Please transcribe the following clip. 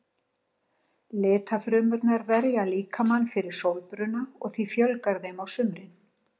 Litfrumurnar verja líkamann fyrir sólbruna og því fjölgar þeim á sumrum.